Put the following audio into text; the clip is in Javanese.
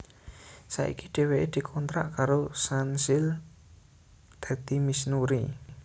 Saiki dhéwéké dikontrak karo Sunsilk dadi Miss Nuri